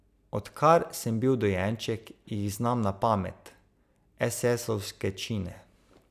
Odkar sem bil dojenček, jih znam na pamet, esesovske čine.